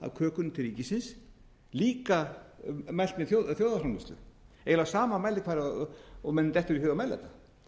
af kökunni til ríkisins líka mælt með þjóðarframleiðslu eiginlega á sama mælikvarða og manni dettur í hug að mæla